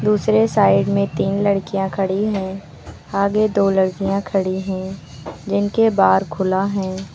दूसरे साइड में तीन लड़कियां खड़ी हैं आगे दो लड़कियां खड़ी हैं जिनके बार खुला है।